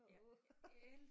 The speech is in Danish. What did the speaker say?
Åh